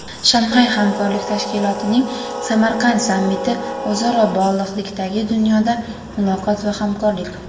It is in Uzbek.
Shanxay hamkorlik tashkilotining Samarqand sammiti: o‘zaro bog‘liqlikdagi dunyoda muloqot va hamkorlik.